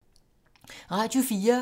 Radio 4